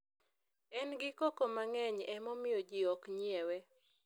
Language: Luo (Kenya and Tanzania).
en gi koko mang'eny emomiyo ji ok nyiewe